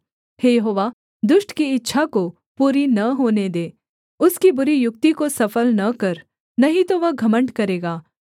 हे यहोवा दुष्ट की इच्छा को पूरी न होने दे उसकी बुरी युक्ति को सफल न कर नहीं तो वह घमण्ड करेगा सेला